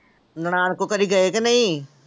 ਨਨਾਣ ਕੋਲ ਕਦੇ ਗਏ ਕਿ ਨਹੀਂ।